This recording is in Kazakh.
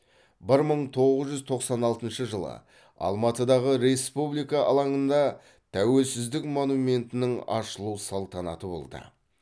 бір мың тоғыз жүз тоқсан алтыншы жылы алматыдағы республика алаңында тәуелсіздік монументінің ашылу салтанаты болды